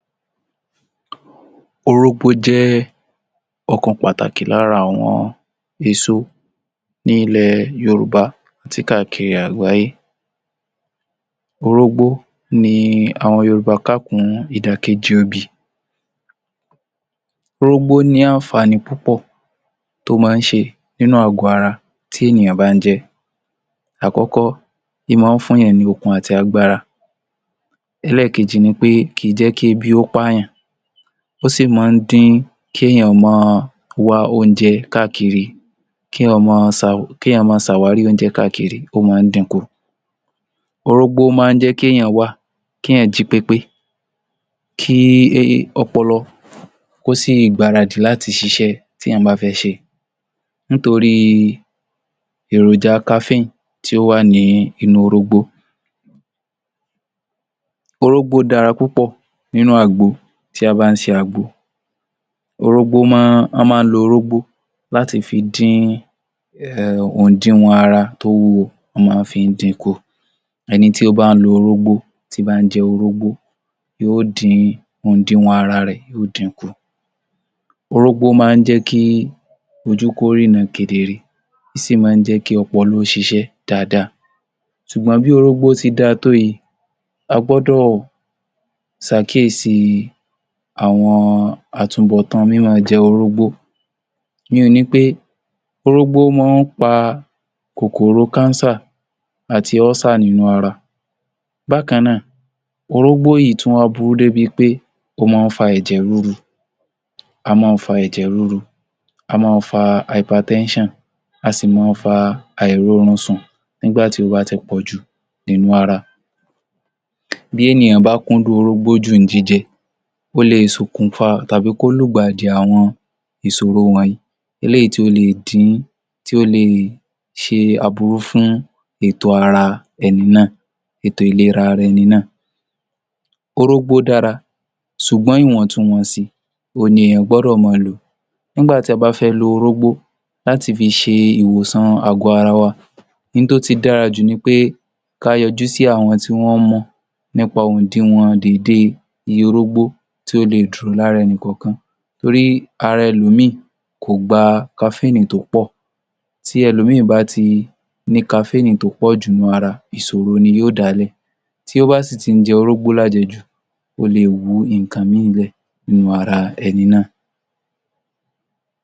Orógbó jẹ́ ọ̀kan pàtàkì lára àwọn èso ní ilẹ̀ Yorùbá káàkiri àgbáyé. Orógbó ni àwọn Yorùbá kà kún ìdàkejì obì. Orógbó ní àǹfààní púpọ̀ tó máa ń ṣe nínú àgò ara tí ènìyàn bá ń jẹ. Àkọ́kọ́, í máa ń fún ènìyàn ní okun àti agbára, ẹlẹ́ẹ̀kejì ni pé kìí jẹ́ kí ebi ó pààyàn, ó sì máa ń dín kí èèyàn máa wá oúnjẹ káàkiri, kí èèyàn máa, kí èèyàn máa ṣàwárí oúnjẹ káàkiri ó máa ń dínkù. Orógbó máa ń jẹ́ kí èèyàn wá, kí èèyàn máa jí pépé, kí í í ọpọlọ kó sì gbáradì láti ṣiṣẹ́ téèyàn bá fẹ́ ṣe nítorí èròjà Kafín tí ó wà ní inú orógbó. Orógbó dára púpọ̀ nínú àgbo tí a bá ń se àgbo, orógbó máa, wọ́n máa ń lo orógbó láti fi dín ehn òdiwọ̀n ara tó wúwo, wọ́n má fi ń dínkù. Orógbó máa ń jẹ́ kí ojú kó ríran kedere ó sì máa ń jẹ́ kí ọpọlọ ó ṣiṣẹ́ dáradára. Ṣùgbọ́n bí orógbó ṣe dára tó yìí, a gbọ́dọ̀ ṣàkíyèsí àwọn àtúbọ̀tán mí máa jẹ orógbó. Ìyínhun ni pé orógbó máa ń fà kòkòrò Cancer àti ulcer nínú ara. Bákan náà orógbó yìí tún wá burú débi pé, ó máa ń fà ẹ̀jẹ̀ ríru, ó máa ń fa ẹ̀jẹ̀ ríru, ó máa ń fà hypertension, a sì máa fà àìróorun sùn nígbà tó bá ti pọ̀jù nínú ara. Bí ènìyàn bá kúndùn orógbó jù ń jíjẹ, ó le è ṣokùnfà tàbí kí ó lùgbàdì àrùn ìṣòro wọ̀nyí, eléyìí tí ó le è di, tí ó le è ṣe aburú fún ètò ara ẹni náà, ètò ìlera ara ẹni náà. Orógbó dára ṣùgbọ́n iwọntún-wọnsì, òhun ni èèyàn gbọ́dọ̀ máa lò. Nígbà tí a bá fẹ́ lo orógbó láti fi ṣe ìwòsàn àgò ara wa, ihun tó ti dára jù ni pé ká yọjú sí àwọn tí wọ́n mọ̀ nípa ohun òdiwọ̀n déédéé iye orógbó tí ó le è dùn lára ẹnì kọ̀ọ̀kan torí ara ẹlòmíràn kò gba Kafín tó pọ̀. Bí ẹlòmíràn bá ti ní kafínnì tó pọ̀jù nínú ara, ìṣòro ni yóò dáálẹ̀, tí ó bá sì ti ń jẹ orógbó lájẹjù, ó le è wú nǹkan míhìn lé nínú ara ẹni náà.